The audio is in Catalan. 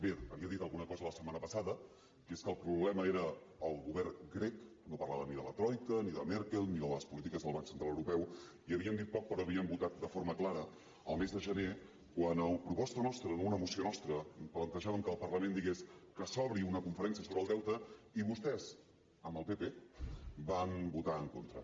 bé havia dit alguna cosa la setmana passada que és que el problema era el govern grec no parlava ni de la troica ni de merkel ni de les polítiques del banc central europeu i havien dit poc però havien votat de forma clara al mes de gener quan a proposta nostra en una moció nostra plantejàvem que el parlament digués que s’obri una conferència sobre el deute i vostès amb el pp hi van votar en contra